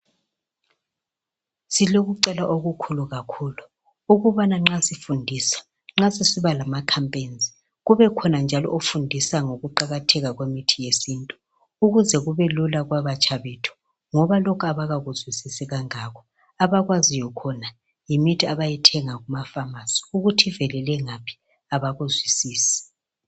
Silokucela okukhulu kakhulu ukubana nxa sifundisa, nxa sisiba lama khampeyinzi, kubekhona njalo ofundisa ngokuqakatheka kwemithi yesintu, ukuze kubelula kwabatsha bethu, ngoba lokhu abakakuzwisisi kangako. Abakwaziyo khona yimithi abayithenga kumafamasi, ukuthi ivelele ngaphi abakuzwisisi.